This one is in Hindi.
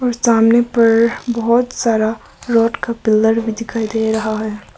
और सामने पर बहुत सारा रोड का पिलर भी दिखाई दे रहा है।